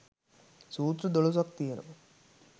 සූත්‍ර දොළොසක් තියෙනවා.